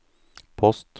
post